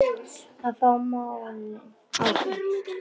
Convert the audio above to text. Að fá málin á hreint